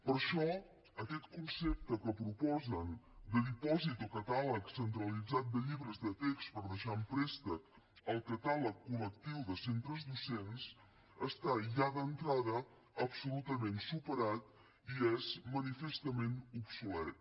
per això aquest concepte que proposen de dipòsit o catàleg centralitzat de llibres de text per deixar en préstec al catàleg col·lectiu de centres docents està ja d’entrada absolutament superat i és manifestament obsolet